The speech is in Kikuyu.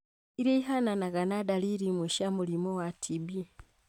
iria ihananaga na dariri imwe cia mũrimũ wa TB.